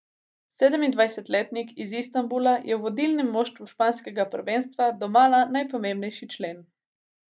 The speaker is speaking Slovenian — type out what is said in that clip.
Sedemindvajsetletnik iz Istanbula je v vodilnem moštvu španskega prvenstva domala najpomembnejši člen.